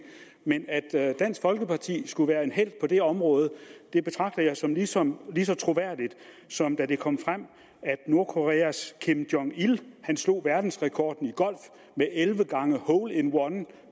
men at dansk folkeparti skulle være helte på det område betragter jeg som jeg som lige så troværdigt som da det kom frem at nordkoreas kim jong il slog verdensrekorden i golf med elleve gange hole in one